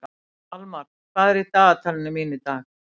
Almar, hvað er í dagatalinu mínu í dag?